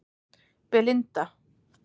Belinda